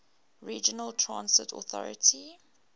regional transit authority